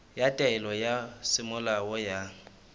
ya taelo ya semolao ya